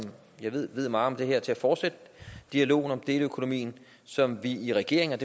jeg ved ved meget om det her til at fortsætte dialogen om deleøkonomien som vi i regeringen